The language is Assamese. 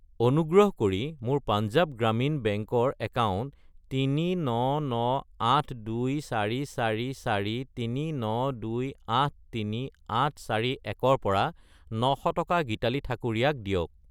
অনুগ্ৰহ কৰি মোৰ পাঞ্জাৱ গ্ৰামীণ বেংক একাউণ্ট 3998244439283,841 ৰ পৰা 900 টকা গীতালি ঠাকুৰীয়া ক দিয়ক।